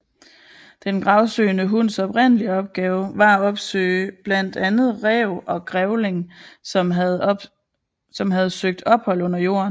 Den gravsøgende hunds oprindelige opgave var at opsøge blandt andet ræv og grævling som havde søgt ophold under jorden